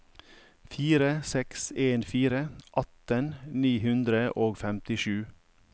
fire seks en fire atten ni hundre og femtisju